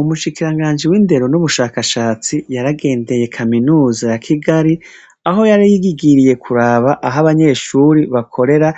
Umushikiranganji wi ndero n'ubushakashatsi, yaragenseye kaminuza ya Kigali, aho yari yishikiye kuraba aho abanyeshure bakorera